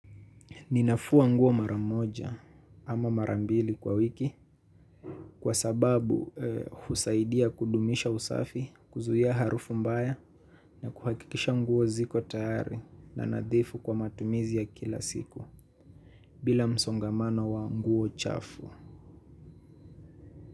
Ninafua nguo mara moja ama mara mbili kwa wiki kwa sababu husaidia kudumisha usafi, kuzuia harufu mbaya na kuhakikisha nguo ziko tayari na nadhifu kwa matumizi ya kila siku. Bila msongamano wa nguo chafu.